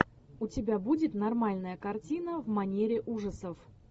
у тебя будет нормальная картина в манере ужасов